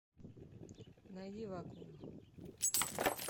найди вакуум